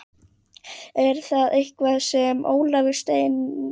Er það eitthvað sem Ólafur stefnir að?